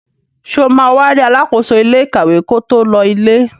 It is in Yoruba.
Sọ ma wá rí alákóso ilé ìkàwé ko tó lọ ilé?